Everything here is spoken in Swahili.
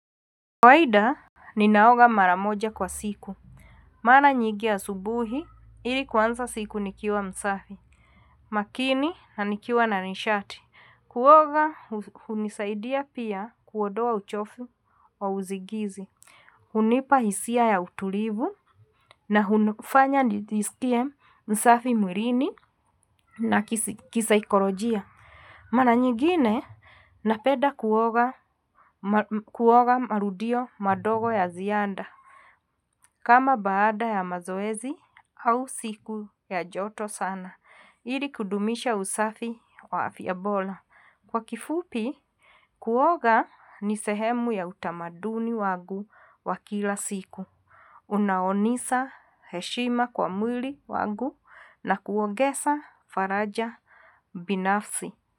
Kawaida ninaoga mara moja kwa siku. Mara nyingi asubuhi ili kuanza siku nikiwa msafi makini na nikiwa na nishati. Kuoga hunisaidia pia kuondoa uchofu wa usingizi. Hunipa hisia ya utulivu na hunifanya nijiskie msafi mwilini na kisaikolojia. Mara nyigine napenda kuoga marudio madogo ya ziada. Kama baada ya mazoezi au siku ya joto sana, ili kudumisha usafi wa afya bora. Kwa kifupi, kuoga ni sehemu ya utamaduni wangu wakila siku. Unaonisa heshima kwa mwili wangu na kuongeza faraja binafsi.